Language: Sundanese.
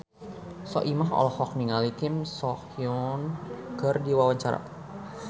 Soimah olohok ningali Kim So Hyun keur diwawancara